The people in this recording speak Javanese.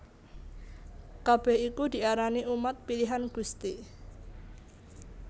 Kabèh iku diarani umat pilihan Gusti